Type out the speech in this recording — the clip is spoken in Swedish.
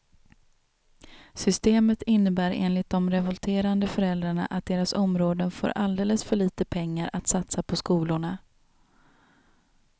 Systemet innebär enligt de revolterande föräldrarna att deras områden får alldeles för lite pengar att satsa på skolorna.